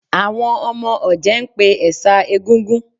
Àwọn ọmọ ọ̀jẹ̀ ń pè ẹ̀ṣà Egúngún